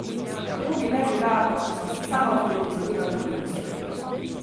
Kako bi le bila, če pa sem sama tudi pozabila toliko stvari?